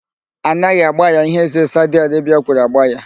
A naghị agbaya ihe ézē Saudi Arebia kwuru agbaya.